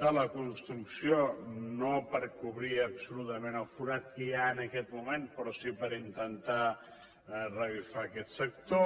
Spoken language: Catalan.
de la construcció no per cobrir absolutament el forat que hi ha en aquest moment però sí per intentar revifar aquest sector